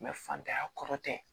fantanya kɔrɔ tɛ